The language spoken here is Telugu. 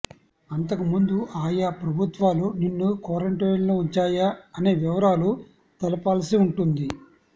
అంతకుముందు ఆయా ప్రభుత్వాలు నిన్ను క్వారంటైన్లో ఉంచాయా అనే వివరాలు తెలపాల్సి ఉంటుంది